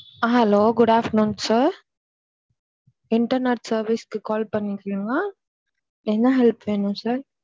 Hello good afternoon sir internet service க்கு call பண்ணிக்கவா என்ன help வேணும் sir.